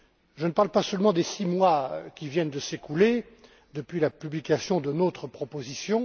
Je ne parle pas seulement des six mois qui viennent de s'écouler depuis la publication de notre proposition.